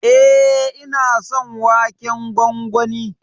E, ina son waken gwangwani.